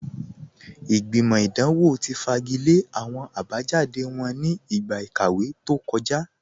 Ìgbìmọ̀ idanwọ̀ ti fagilẹ̀ awọn abajáde wọn ní igba ikàwé tó kọ̀já